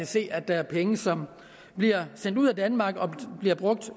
se at der er penge som bliver sendt ud af danmark og bliver brugt